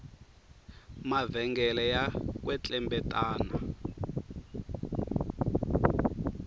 mavhengele ya kwetlembetana